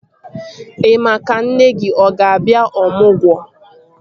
Ị maa ka nne gị ọ ga-abịa ọmụgwọ?